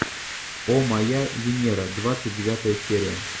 о моя венера двадцать девятая серия